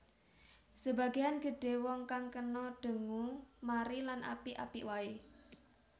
Sebagean gedhe wong kang kena dengue mari lan apik apik wae